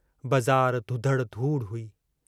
बज़ार धुधड़ धूड़ हुई।